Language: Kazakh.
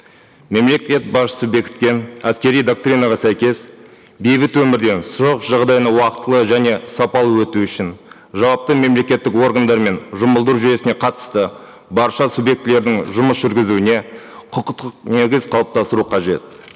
мемлекет басшысы бекіткен әскери доктринаға сәйкес бейбіт өмірден соғыс жағдайына уақытылы және сапалы өту үшін жауапты мемлекеттік органдары мен жұмылдыру жүйесіне қатысты барша субъектілердің жұмыс жүргізуіне құқықтық негіз қалыптастыру қажет